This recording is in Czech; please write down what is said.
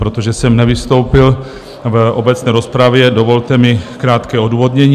Protože jsem nevystoupil v obecné rozpravě, dovolte mi krátké odůvodnění.